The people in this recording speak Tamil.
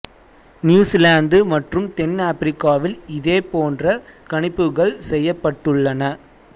நியூசிலாந்து மற்றும் தென் ஆப்பிரிக்காவில் இதே போன்ற கணிப்புகள் செய்யப்பட்டுள்ளன